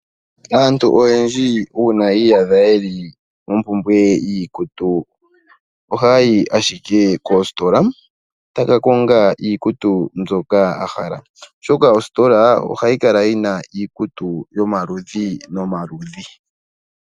Aantu oyendji ngele yi iyadha yeli mompumbwe yiikutu ohayayi ashike koositola etaya kakonga iikutu mbyoka yahala, oshoka ositola ohayikala yina iikutu yomaludhi nomaludhi.